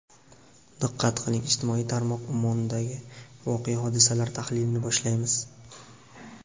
Diqqat qiling, ijtimoiy tarmoq ummonidagi voqea-hodisalar tahlilini boshlaymiz.